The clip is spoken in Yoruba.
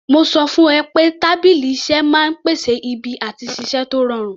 Mo sọ fún ẹ pé tábìlì iṣẹ́ máa ń pèsè ibi àti ṣiṣẹ́ tó rọrùn